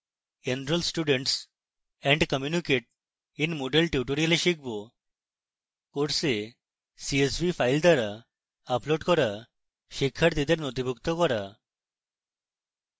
enroll students and communicate in moodle tutorial শিখব: